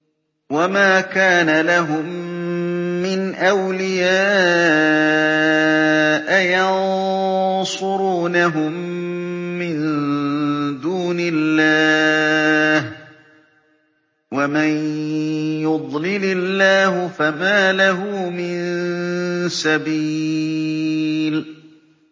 وَمَا كَانَ لَهُم مِّنْ أَوْلِيَاءَ يَنصُرُونَهُم مِّن دُونِ اللَّهِ ۗ وَمَن يُضْلِلِ اللَّهُ فَمَا لَهُ مِن سَبِيلٍ